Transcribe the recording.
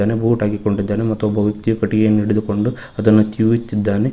Boot ಹಾಕಿಕೊಂಡಿದ್ದಾನೆ ಮತ್ತು ಒಬ್ಬ ವ್ಯಕ್ತಿಯು ಕಟ್ಟಿಗೆಯನ್ನು ಹಿಡಿದುಕೊಂಡು ಅದನ್ನು ತಿಳಿಯುತ್ತಿದ್ದಾನೆ.